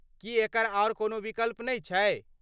की एकर आर कोनो विकल्प नहि छै?